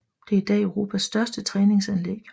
Det er idag Europas største træningsanlæg